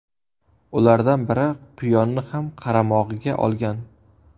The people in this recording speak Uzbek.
Ulardan biri quyonni ham qaramog‘iga olgan.